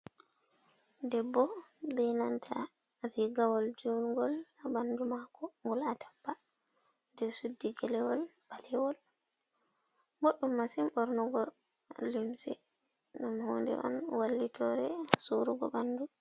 Debbo, be nanta rigawol jongol ha ɓandu mako ngol atampa, ɗe suddi gelewol ɓalewol boɗɗum masim bornugo lumse, ɗum hunde on wallitore surugo ɓandu.